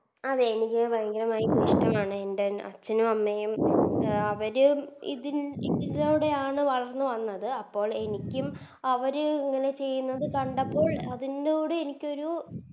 അതെ എനിക്ക് ഭയങ്കരമായി ഇഷ്ട്ടമാണ് എൻറെ അച്ഛനും അമ്മയും അവരും ഇതി ഇതിലൂടെയാണ് വളർന്ന് വന്നത് അപ്പോൾ എനിക്കും അവര് ഇങ്ങനെ ചെയ്യുന്നത് കണ്ടപ്പോൾ അതിന്നൊട് എനിക്കൊരു